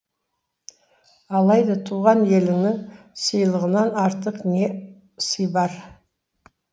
алайда туған еліңнің сыйлығынан артық не сый бар